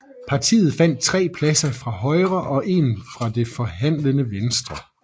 Partiet vandt 3 pladser fra Højre og 1 fra Det forhandlende Venstre